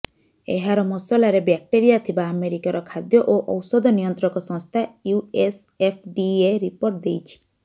ଏହାର ମସଲାରେ ବ୍ୟାକ୍ଟେରୀଆ ଥିବା ଆମେରିକାର ଖାଦ୍ୟ ଓ ଔଷଧ ନିୟନ୍ତ୍ରକ ସଂସ୍ଥା ୟୁଏସଏଫଡିଏ ରିପୋର୍ଟ ଦେଇଛି